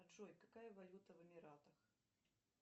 джой какая валюта в эмиратах